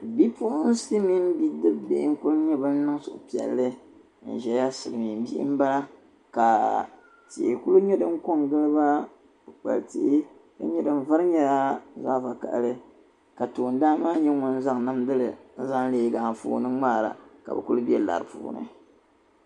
Bi puɣinsi mini bidibisi n kuli niŋ suhupiɛli n ʒia n diɛmda kaa tihi kuli nyɛ din konkon giliba ka tihi din vari nyɛla zaɣa vakahili ka tooni dan nyɛ ŋun zaŋ namdili n leegi anfooni ŋmaara ka bɛ kuli be lari puuni